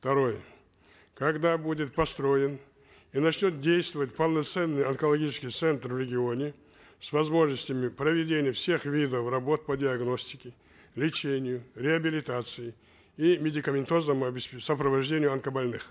второе когда будет построен и начнет действовать полноценный онкологический центр в регионе с возможностями проведения всех видов работ по диагностике лечению реабилитации и медикаментозного сопровождения онкобольных